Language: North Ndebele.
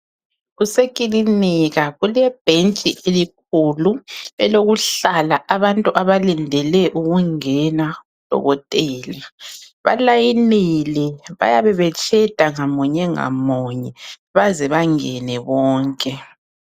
Kusekilinika kulebhentshi elikhulu elokuhlala abantu abalindele ukungena kudokotela. Balayinile bayabe betsheda munye ngamuye baze bangene bonke.